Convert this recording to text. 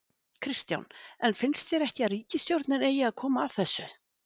Kristján: En finnst þér ekki að ríkisstjórnin eigi að koma að þessu?